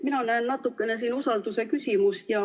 Mina näen siin natukene usalduse küsimust.